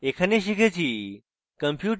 in tutorial শিখেছি